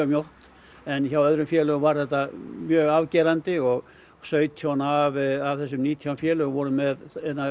mjótt en hjá öðrum félögum var þetta mjög afgerandi og sautján af þessum nítján félögum voru með